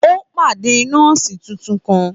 Ó pàdé nọ́ọ̀sì tuntun kan.